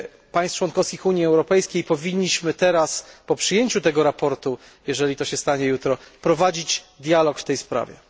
państw członkowskich Unii Europejskiej powinniśmy teraz po przyjęciu tego sprawozdania jeżeli to się stanie jutro prowadzić dialog w tej sprawie.